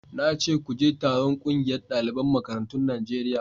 na ce ku je taron ƙungiyar daliban makarantun Najeriya